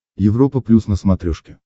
европа плюс на смотрешке